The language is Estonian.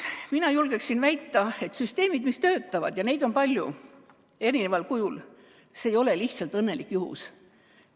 Mina julgeksin väita, et kui süsteemid töötavad – ja neid on palju, eri kujul –, siis see ei ole lihtsalt õnnelik juhus.